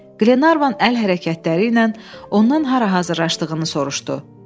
Glenarvan əl hərəkətləri ilə ondan hara hazırlaşdığını soruşdu.